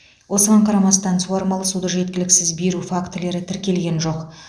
осыған қарамастан суармалы суды жеткіліксіз беру фактілері тіркелген жоқ